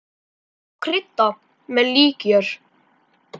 Má krydda með líkjör.